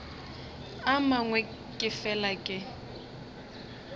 a mangwe ke fela ke